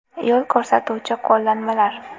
Yo‘l ko‘rsatuvchi qo‘llanmalar.